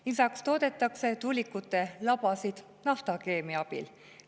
Lisaks toodetakse tuulikute labasid naftakeemia abil.